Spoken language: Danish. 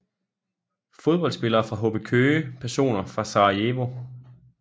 Fodboldspillere fra HB Køge Personer fra Sarajevo